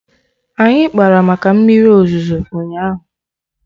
Anyị kpara maka mmiri ozuzo ụnyaahụ